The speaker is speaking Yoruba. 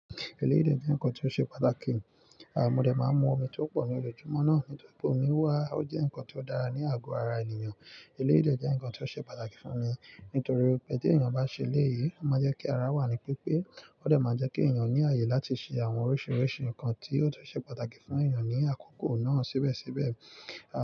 Eléyìí jẹ́ nǹkan tó ṣe pàtàkì, àmọ́ óde máa ń mú omi tó pọ̀ ní ojúmọ́ náà. Nítorí pé omi wà, ó jẹ́ nǹkan tó dára ní àgọ́ ara ènìyàn. Eléyìí dé jẹ́ nǹkan tó ṣe pàtàkì fún mi nítorí pé tí ènìyàn bá ṣe eléyìí, ó máa jẹ́ kí ara wà ní pípe. Ó dẹ̀ máa jẹ́ kí ènìyàn ní ààyè láti ṣe àwọn oríṣiríṣi nǹkan tí yóò tún ṣe pàtàkì fún ènìyàn ní àkókò náà síbẹ̀síbẹ̀.